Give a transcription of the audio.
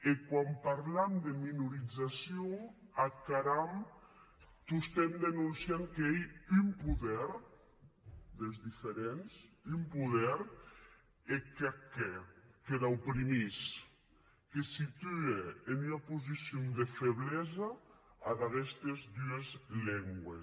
e quan parlam de minorizacion ac haram tostemps denonciant qu’ei un poder des diferenti un poder eth qu’ac hè que les oprimís que situe en ua posicion de feblesa ad aguestes dues lengües